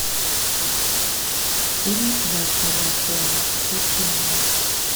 фильм врата дракона включи мне